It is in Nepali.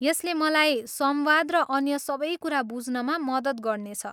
यसले मलाई संवाद र अन्य सबै कुरा बुझ्नमा मद्दत गर्नेछ।